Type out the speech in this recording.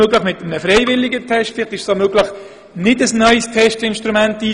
Möglicherweise ist ein freiwilliger Test besser, oder es braucht gar kein neues Testinstrument.